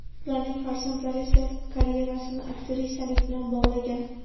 Ularning farzandlari esa karyerasini aktrisalik bilan bog‘lagan.